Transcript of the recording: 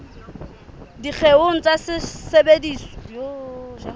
dikgeong tsa mesebetsi ya sehlopha